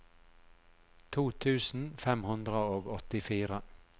to tusen fem hundre og åttifire